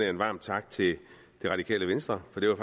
en varm tak til det radikale venstre for det